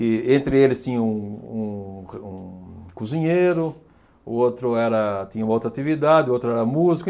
E, entre eles, tinha um um um cozinheiro, o outro era tinha uma outra atividade, o outro era músico.